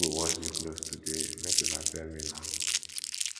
who go wash di clothes today make una tell me now